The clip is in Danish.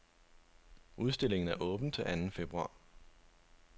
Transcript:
Udstillingen er åben til anden februar.